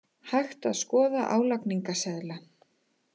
Hægt að skoða álagningarseðla